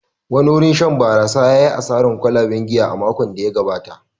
Wani wurin shan barasa ya yi asarar kwalaben giya a makon da ya gabata.